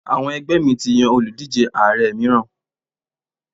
Àwọn ẹgbẹ́ mi ti yan òlùdíje Ààrẹ mìíràn.